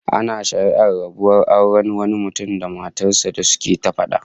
Ana shari'ar rabuwar auren wani mutum da matar sa da suke ta fada